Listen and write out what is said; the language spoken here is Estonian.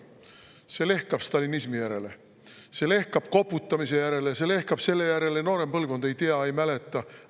See lehkab stalinismi järele, see lehkab koputamise järele, see lehkab selle järele, et noorem põlvkond ei tea, ei mäleta.